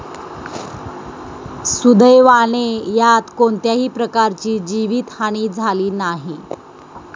सुदैवाने यात कोणत्याही प्रकारची जीवित हानी झाली नाही.